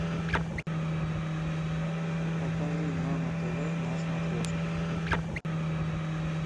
покажи нано тв на смотрешке